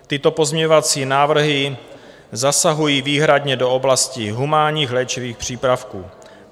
Tyto pozměňovací návrhy zasahují výhradně do oblasti humánních léčivých přípravků.